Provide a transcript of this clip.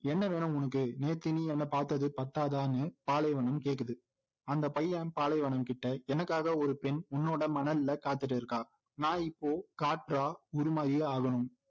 என்ன வேணும் உனக்கு நேத்து நீ என்னை பாத்தது பத்தாதான்னு பாலைவனம் கேக்குது அந்த பையன் பாலைவனம் கிட்ட எனக்காக ஒரு பெண் உன்னோட மணல்ல காத்துகிட்டு இருக்காள் நான் இப்போ காற்றா உருமாறியே ஆகணும்